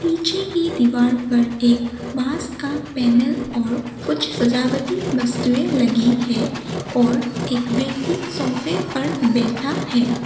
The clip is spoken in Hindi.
पीछे की दीवार पर एक बास का पैनल और कुछ सजावटी वस्तुएं लगी है और एक व्यक्ति सोफे पर बैठा है।